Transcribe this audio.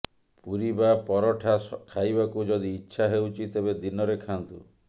ପୁରୀ ବା ପରଠା ଖାଇବାକୁ ଯଦି ଇଚ୍ଛା ହେଉଛି ତେବେ ଦିନରେ ଖାଆନ୍ତୁ